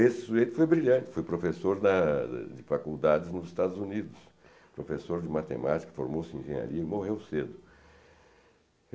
e que brilhantes para o professor da... de faculdade nos Estados Unidos, p, foi professor de faculdades nos Estados Unidos, professor de matemática, formou-se em engenharia e morreu cedo.